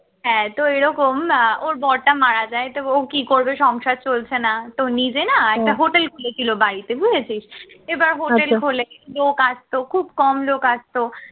হ্যাঁ তো ঐরকম আহ ওর বরটা মারা যায় তো ও কি করবে সংসার চলছে না তো নিজে না একটা hotel খুলেছিল বাড়িতে বুঝেছিস, এবার hotel খুলে লোক আসতো খুব কম লোক আসতো